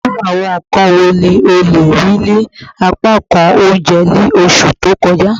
Iru awọn nkan wo ni o le rii ni apakan ounjẹ ni oṣu to kọja?